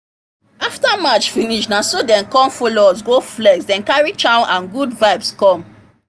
after match finish na so dem come follow us go flex them carry chow and good vibes come